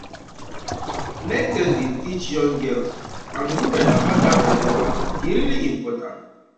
make dem dey teach young girls um and women about that belly wahala e really important